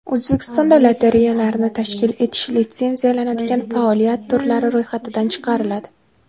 O‘zbekistonda lotereyalarni tashkil etish litsenziyalanadigan faoliyat turlari ro‘yxatidan chiqariladi.